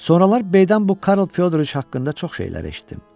Sonralar Beydən bu Karl Fyodriç haqqında çox şeylər eşitdim.